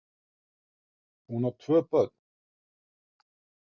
Hún á tvö börn